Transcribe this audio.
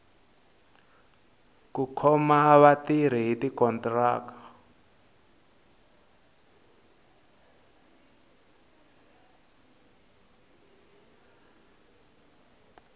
ku khoma vatirhi hi tikontiraka